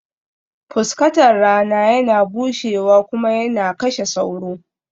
Fuskatar rana yana bushewa kuma yana kashe sauro